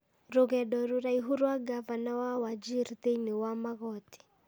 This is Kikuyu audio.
Rũgendo rũraihu rwa ngavana wa Wajir thĩinĩ wa magoti.